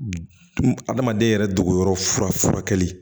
Adamaden yɛrɛ dogoyɔrɔ fura furakɛli